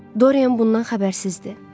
Dorian bundan xəbərsizdir.